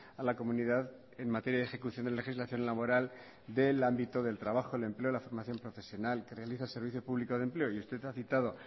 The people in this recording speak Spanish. a la comunidad en materia de ejecución de legislación laboral del ámbito del trabajo el empleo la formación profesional que realiza el servicio público de empleo y usted ha citado